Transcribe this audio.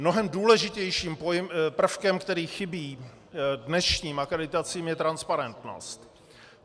Mnohem důležitějším prvkem, který chybí dnešním akreditacím, je transparentnost.